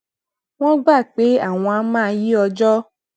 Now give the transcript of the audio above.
wón gbà pé àwọn á máa yí ọjó